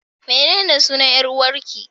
Menene sunan 'yar'uwarƙi?